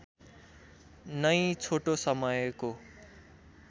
नै छोटो समयको